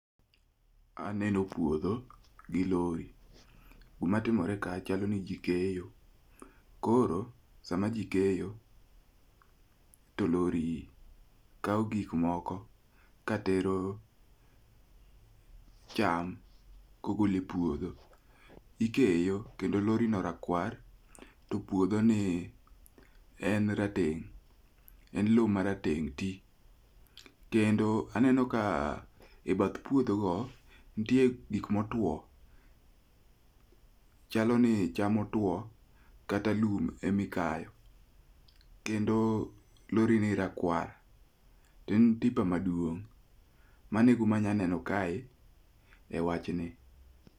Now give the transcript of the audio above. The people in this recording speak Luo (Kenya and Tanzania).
Aneno puodho gi lori. Gima timore ka chalo ni ji keyo. Koro sama ji keyo to lori kawo gik moko katero cham kogolo e puodho. Ikeyo kendo lori no rakwar, to puodhoni en rateng', en lowo marateng' ti. Kendo aneno ka ebath puodhogo nitie gik motwo, chalo ni cham otuo kata lum ema ikayo kendo lorini rakwar. En tipa maduong'. Mano e gima anyalo neno kae ewachni.